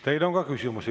Teile on ka küsimusi.